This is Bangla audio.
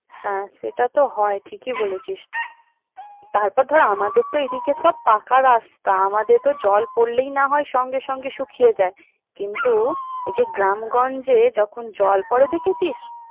হ্যাঁ সেটা তো হয় ঠিকই বলেছিস তারপর ধর আমাদের তো একদিকে সব পাকা রাস্তা আমাদের তো জল পড়লেই না হয় সঙ্গে সঙ্গে শুকিয়ে যায় কিন্তু এই যে গ্রামগঞ্জে যখন জল পরে দেখেছিস।